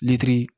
Litiri